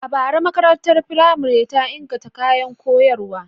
A bara, makarantar firamare ta inganta kayan koyarwa.